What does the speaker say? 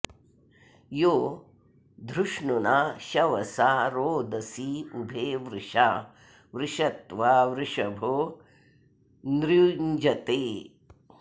यो धृष्णुना शवसा रोदसी उभे वृषा वृषत्वा वृषभो न्यृञ्जते